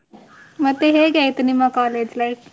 ಮತ್ತೆ ಹೇಗೆ ಆಯ್ತು ನಿಮ್ಮ college life ?